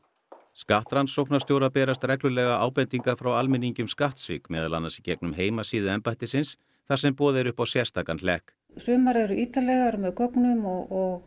skattrannsóknarstjóra berast reglulega ábendingar frá almenningi um skattsvik meðal annars í gegnum heimasíðu embættisins þar sem boðið er upp á sérstakan hlekk sumar eru ítarlegar með gögnum og